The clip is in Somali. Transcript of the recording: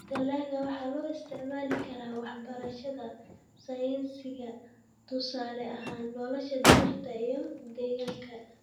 Dalagga waxaa loo isticmaali karaa waxbarashada sayniska tusaale ahaan nolosha dhirta iyo deegaanka.